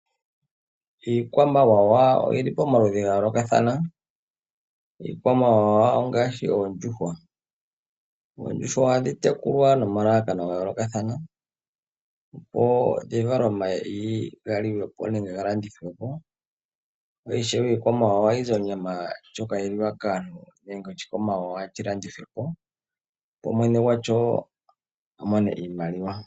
Iikwamawawa oyili pamaludhi gayoolokathana, ngaashi oondjuhwa. Oondjuhwa ohadhi tekulwa nomalalakano gayoolokathana, dhi vale omayi galyiwe po nenge ga landithwe po, osho wo onyama ndjoka hayi lyiwa kaantu. Aanimuna ohaya vulu okulanditha iikwamawawa opo ya mone iimaliwa.